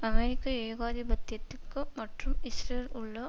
அமெரிக்க ஏகாதிபத்தியத்திகு மற்றும் இஸ்ரேலில் உள்ள